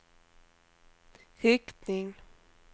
riktning